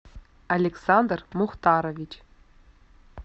александр мухтарович